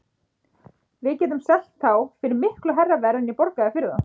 Við getum selt þá fyrir miklu hærra verð en ég borgaði fyrir þá.